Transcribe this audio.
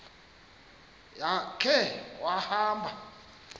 ya khe wahamba